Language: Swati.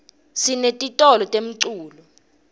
sinetitolo temculo